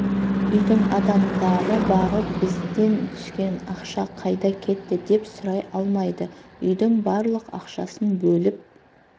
үйдің адамдары барып бізден түскен ақша қайда кетті деп сұрай алмайды үйдің барлық ақшасын бөліп